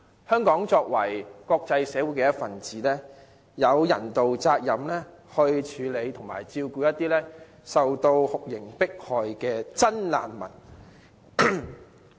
香港作為國際社會一分子，有人道責任處理和照顧一些受酷刑迫害的真難民。